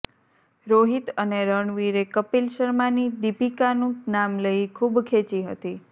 રોહિત અને રણવીરે કપિલ શર્માની દીપિકાનું નામ લઇ ખૂબ ખેંચી હતી